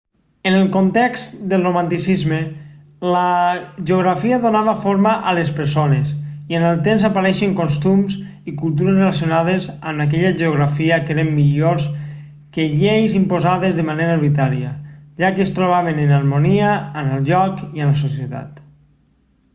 en el context del romanticisme la geografia donava forma a les persones i amb el temps apareixien costums i cultures relacionades amb aquella geografia que eren millors que lleis imposades de manera arbitrària ja que es trobaven en harmonia amb el lloc i amb la societat